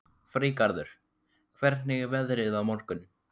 Freygarður, hvernig er veðrið á morgun?